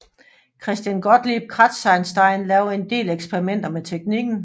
Christian Gottlieb Kratzenstein lavede en del eksperimenter med teknikken